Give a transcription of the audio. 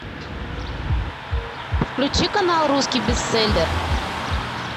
включи канал русский бестселлер